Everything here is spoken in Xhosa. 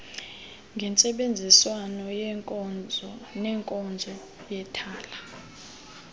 ngentsebenziswano nenkonzo yethala